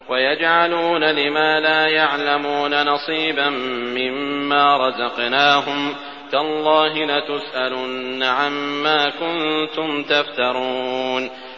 وَيَجْعَلُونَ لِمَا لَا يَعْلَمُونَ نَصِيبًا مِّمَّا رَزَقْنَاهُمْ ۗ تَاللَّهِ لَتُسْأَلُنَّ عَمَّا كُنتُمْ تَفْتَرُونَ